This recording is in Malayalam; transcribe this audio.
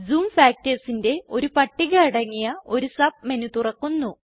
ജൂം factorsന്റെ ഒരു പട്ടിക അടങ്ങിയ ഒരു സബ് മെനു തുറക്കുന്നു